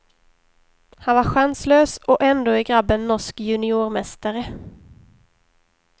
Han var chanslös och ändå är grabben norsk juniormästare.